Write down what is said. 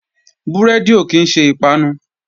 Búrẹ́dì ò kí ń ṣe ìpanu